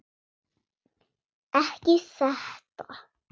Ekki þetta.